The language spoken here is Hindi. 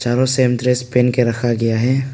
हरो सेम ड्रेस पेन के रखा गया है।